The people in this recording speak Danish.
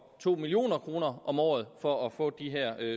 to million kroner om året for at få de her